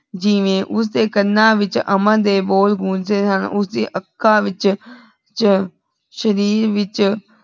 ਜਿਵੇਂ ਓਸਦੀ ਕਣਾਂ ਵਿਚ ਅਮਨ ਦੇ ਬੋਲ ਗੋੰਜ ਰਹੇ ਹਨ ਓਸਦੀ ਆਖਾਂ ਵਿਚ ਸ਼ਰੀਰ ਵਿਚ